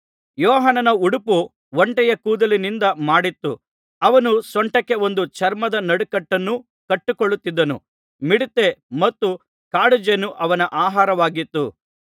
ಯೋಹಾನನ ಉಡುಪು ಒಂಟೆಯ ಕೂದಲಿನಿಂದ ಮಾಡಿತ್ತು ಅವನು ಸೊಂಟಕ್ಕೆ ಒಂದು ಚರ್ಮದ ನಡುಕಟ್ಟನ್ನು ಕಟ್ಟಿಕೊಳ್ಳುತ್ತಿದ್ದನು ಮಿಡತೆ ಮತ್ತು ಕಾಡುಜೇನು ಅವನ ಆಹಾರವಾಗಿತ್ತು